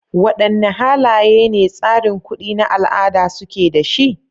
Wadanne halaye ne tsarin kuɗi na al'ada suke da shi?